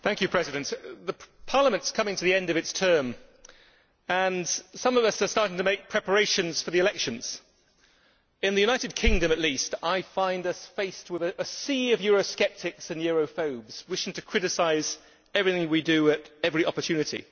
Mr President, Parliament is coming to the end of its term and some of us are starting to make preparations for the elections. In the United Kingdom, at least, I see us faced with a sea of Euro sceptics and Europhobes wishing to criticise everything we do at every opportunity.